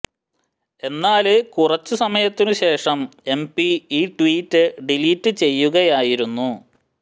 എന്നാല് കുറച്ചു സമയത്തിനു ശേഷം എംപി ഈ ട്വീറ്റ് ഡിലീറ്റ് ചെയ്യുകയായിരുന്നു